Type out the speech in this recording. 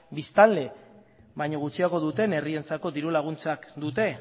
biztanle baino gutxiago duten herrientzako dirulaguntzak dute